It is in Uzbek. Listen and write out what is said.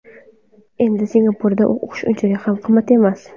Endi Singapurda o‘qish unchalik ham qimmat emas.